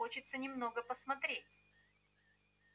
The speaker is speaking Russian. хочется немного посмотреть